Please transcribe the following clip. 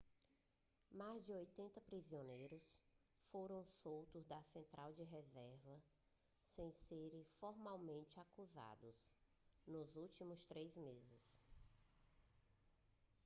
mais de 80 prisioneiros foram soltos da central de reservas sem serem formalmente acusados nos últimos três meses